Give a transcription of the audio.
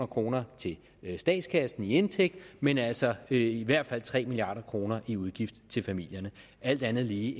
kroner til statskassen i indtægt men altså i hvert fald tre milliard kroner i udgift til familierne alt andet lige